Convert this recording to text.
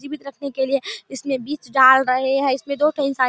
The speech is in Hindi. जीवित रखने के लिए इसमें बीज डाल रहे हैं इसमे दो ठो इंसान --